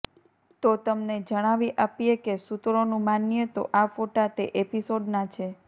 તો તમને જણાવી આપીએ કે સુત્રોનું માનીએ તો આ ફોટા તે એપિસોડના છે